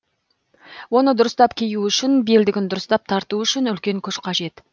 оны дұрыстап кию үшін белдігін дұрыстап тарту үшін үлкен күш қажет